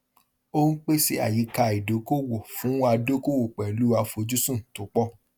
ó ń pèsè àyíká ìdókòòwò fún adókòwò pẹlú àfojúsùn tó pọ